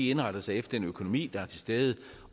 indretter sig efter den økonomi der er til stede